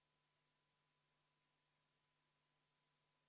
Veebruaris tuleb maksta juba tulumaksu jaanuarikuu palgast 22% ehk inimesed saavad vähem netopalka.